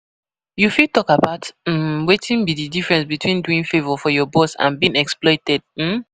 You fit talk about um wetin be di difference between doing favor for your boss and being exploited. um